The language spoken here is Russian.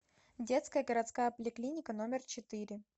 детская городская поликлиника номер четыре